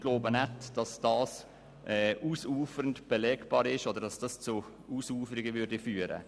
Wir glauben nicht, dass dies ausufernd belegbar ist oder zu Ausuferungen führen wird.